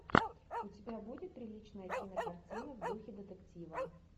у тебя будет приличная кинокартина в духе детектива